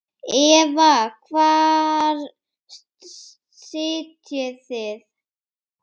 Eva: Hvar sitjið þið?